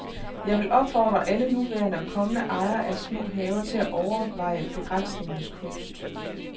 Jeg vil opfordre alle nuværende og kommende ejere af små haver til at overveje begrænsningens kunst.